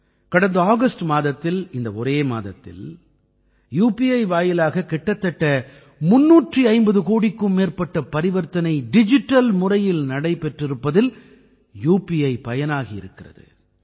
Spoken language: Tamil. கடந்த ஆகஸ்ட் மாதத்தில் இந்த ஒரே மாதத்தில் உபி வாயிலாக கிட்டத்தட்ட 350 கோடிக்கும் மேற்பட்ட பரிவர்த்தனை டிஜிட்டல் முறையில் நடைபெற்றிருப்பதில் உபி பயனாகி இருக்கிறது